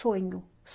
Sonho.